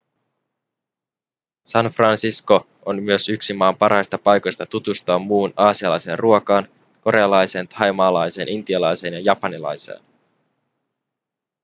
san francisco on myös yksi maan parhaista paikoista tutustua muuhun aasialaiseen ruokaan korealaiseen thaimaalaiseen intialaiseen ja japanilaiseen